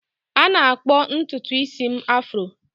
A na-akpọ ntutu isi m afro